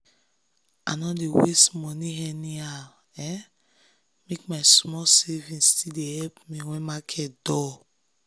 i no dey waste money anyhow make my small savings still dey help me when market dull.